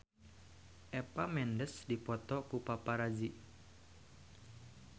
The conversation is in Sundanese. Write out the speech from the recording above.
Eva Mendes dipoto ku paparazi